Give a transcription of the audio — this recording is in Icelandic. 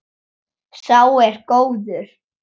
Sá er góður.